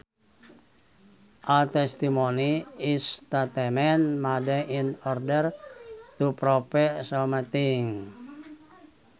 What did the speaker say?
A testimony is statement made in order to prove something